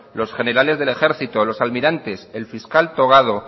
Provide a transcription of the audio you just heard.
los generales del ejército los almirantes el fiscal togado